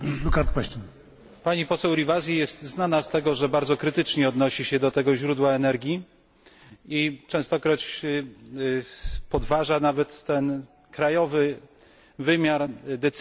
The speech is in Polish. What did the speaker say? Pani poseł Rivasi jest znana z tego, że bardzo krytycznie odnosi się do tego źródła energii i częstokroć podważa nawet krajowy wymiar decyzji w tej sprawie.